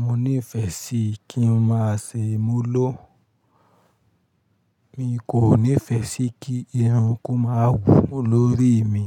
Mo nífẹẹ sí kí n má ṣe múló. Mi kò nífẹẹ sí kí irun kó má wù lórí mi.